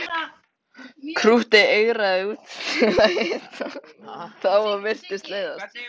Krúttið eigraði út til að hitta þá og virtist leiðast.